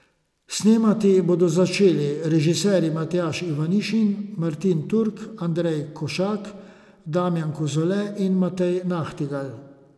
Snemati bodo začeli režiserji Matjaž Ivanišin, Martin Turk, Andrej Košak, Damjan Kozole in Matej Nahtigal.